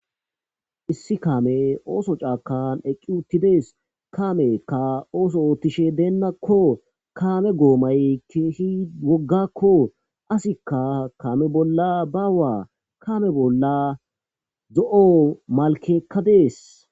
Issi kamaey ooso bollakka de'izayssa besses. Ha kaameykka ooso ootishe deenakko. Kaame goomay keehi woggakko. Asikka kaame bolla bawa. Ha kaame bollakka zo'o malkey dees.